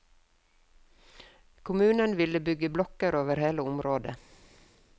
Kommunen ville bygge blokker over hele området.